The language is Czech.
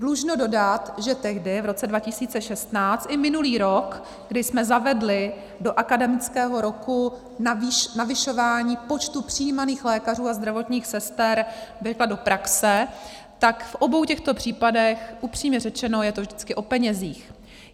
Dlužno dodat, že tehdy, v roce 2016, i minulý rok, kdy jsme zavedli do akademického roku navyšování počtu přijímaných lékařů a zdravotních sester do praxe, tak v obou těchto případech - upřímně řečeno, je to vždycky o penězích.